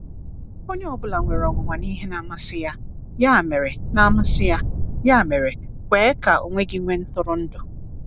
Onye ọ bụla nwere onwunwa na ihe na-amasi ya—ya mere na-amasi ya—ya mere kwe ka onwe gị nwee ntụrụndụ.